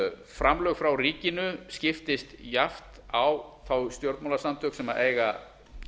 framlög frá ríkinu skiptast jafnt á þau stjórnmálasamtök sem eiga